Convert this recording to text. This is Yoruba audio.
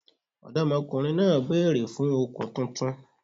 Ọ̀dọ́mọkùnrin náà bèèrè fun òkun titun